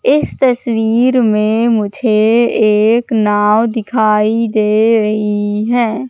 इस तस्वीर में मुझे एक नाव दिखाई दे रही है।